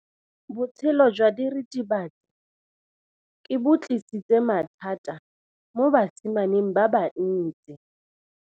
Botshelo jwa diritibatsi ke bo tlisitse mathata mo basimaneng ba bantsi.